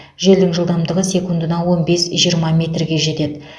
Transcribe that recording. желдің жылдамдығы секундына он бес жиырма метрге жетеді